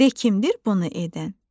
De kimdir bunu edən?